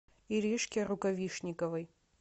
иришке рукавишниковой